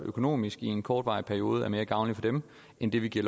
økonomisk i en kortvarig periode er mere gavnlig for dem end det vi giver